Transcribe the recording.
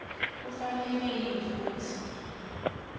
kufanele yini kutsi